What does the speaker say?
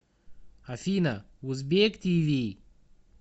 афина узбек ти ви